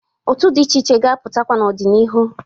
Otu dị iche iche ga-apụtakwa n'ọ dị n'ihu.